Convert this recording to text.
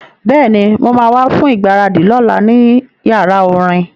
Bẹ́ẹ̀ni, mo ma wá fún ìgbáradì lọ́la ní yàrá orin